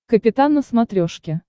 капитан на смотрешке